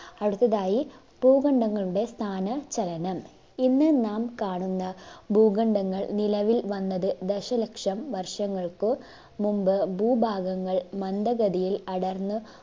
അടുത്തതായി ഭൂകണ്ഡങ്ങളുടെ സ്ഥാന ചലനം. ഇന്ന് നാം കാണുന്ന ഭൂഖണ്ഡങ്ങൾ നിലവിൽ വന്നത് ദശലക്ഷം വർഷങ്ങൾക്ക് മുമ്പ് ഭൂഭാഗങ്ങൾ മന്ദഗതിയിൽ അടർന്ന്